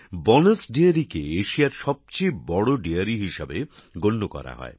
bonus ডেয়ারীকে এশিয়ার সবচেয়ে বড় ডেয়ারী হিসেবে গণ্য করা হয়